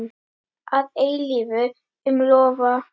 Að eilífu, ég lofa.